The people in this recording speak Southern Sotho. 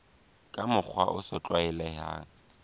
ka mokgwa o sa tlwaelehang